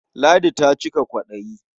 Ladi ta cika kwaɗayi.